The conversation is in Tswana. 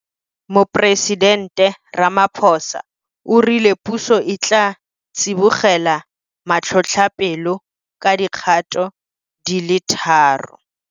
Moporesidente Ramaphosa o rile puso e tla tsibogela matlhotlhapelo ka dikgato di le tharo.